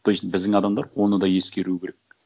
то есть біздің адамдар оны да ескеруі керек